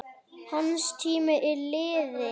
Hans tími er liðinn.